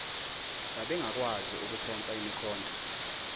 babengakwazi ukuphonsa imikhonto